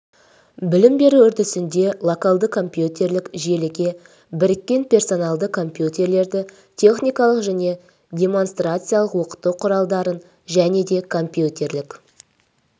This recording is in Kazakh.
білім беру үрдісінде локалды компьютерлік желіге біріккен персоналды компьютерлерді техникалық және демонстрациялық оқыту құралдарын және де компьютерлік